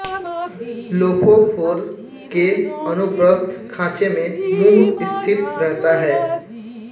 lophophore के अनुप्रस्थ खाँचे में मुँह स्थित रहता है